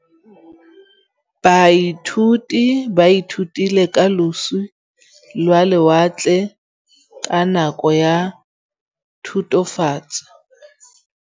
Baithuti ba ithutile ka losi lwa lewatle ka nako ya Thutafatshe.